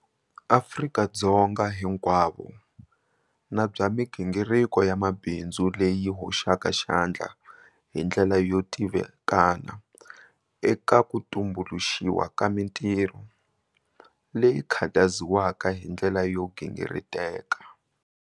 Afrika-Dzonga hinkwavo na bya migingiriko ya mabindzu leyi yi hoxaka xandla hi ndlela yo tivikana eka ku tumbuluxiwa ka mitirho, leyi khutaziwaka hi ndlela yo gingiriteka.'